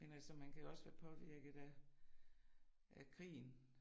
Men altså man kan jo også være påvirket af af krigen